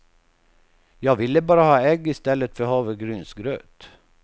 Jag ville bara ha ägg i stället för havregrynsgröt.